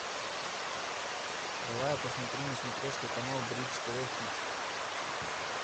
давай я посмотрю на смотрешке канал бридж тв хитс